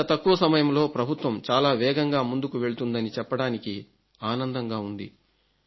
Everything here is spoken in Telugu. ఇంత తక్కువ సమయంలో ప్రభుత్వం చాలా వేగంగా ముందుకు వెళుతుందని చెప్పడానికి ఆనందంగా ఉంది